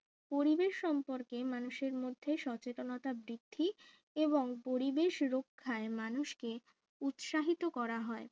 পরিবেশ সম্পর্কে মানুষের মধ্যে সচেতনতা বৃদ্ধি এবং পরিবেশ রক্ষায় মানুষকে উৎসাহিত করা হয়